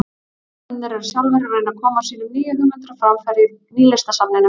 Listamennirnir eru sjálfir að reyna að koma sínum nýju hugmyndum á framfæri í Nýlistasafninu.